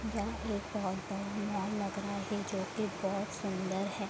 यह एक बहुत बड़ा मॉल लग रहा है जो की बहुत सुन्दर है।